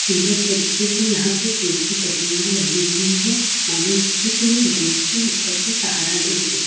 सुंदर तरीके से यहां पे पेड़ की टहनियाँ लगी हुई है। मानो जैसे की वो गेट के ऊपर भी सहारा दे रही।